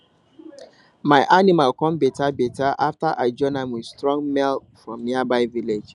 my animal come better better after i join am with strong male from nearby village